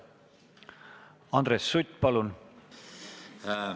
Andres Sutt, palun!